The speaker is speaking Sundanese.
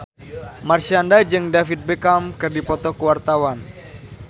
Marshanda jeung David Beckham keur dipoto ku wartawan